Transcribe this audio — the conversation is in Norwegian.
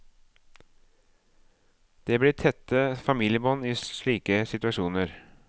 Det blir tette familiebånd i slike situasjoner.